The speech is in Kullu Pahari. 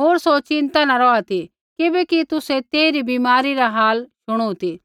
होर सौ चिन्ता न रौहा ती किबैकि तुसै तेइरी बीमारी रा हाल शुणु ती